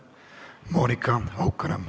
Monika Haukanõmm.